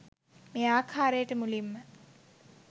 මේ ආකාරයට මුලින්ම